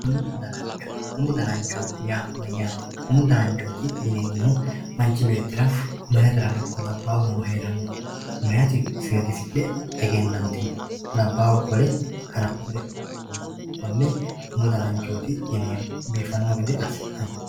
Umu danancho, umu danancho yaa mayyate ,umu dananchoti yineemmohu manchu beettira maayatera ikko labbahura heeranoho ,maayati seedisidhe egenantino labbahu qole haransire kone umu dananchoti yineemmo biifano gede assi'nanni.